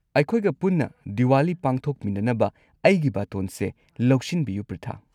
ꯑꯩꯈꯣꯏꯒ ꯄꯨꯟꯅ ꯗꯤꯋꯥꯂꯤ ꯄꯥꯡꯊꯣꯛꯃꯤꯟꯅꯅꯕ ꯑꯩꯒꯤ ꯕꯥꯇꯣꯟꯁꯦ ꯂꯧꯁꯤꯟꯕꯤꯌꯨ, ꯄ꯭ꯔꯤꯊꯥ꯫